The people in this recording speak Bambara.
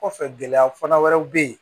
Kɔfɛ gɛlɛya fana wɛrɛw bɛ yen